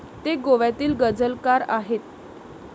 ते गोव्यातील गझलकार आहेत.